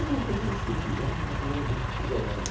Alguma coisa nesse sentido, era mais ou menos isso que se ganhava.